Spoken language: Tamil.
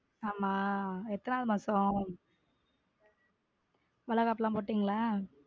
ஆமா எத்தனாவது மாசம் வளகாப்புலாம் போடிங்களா.